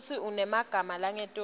futsi unemagama langetulu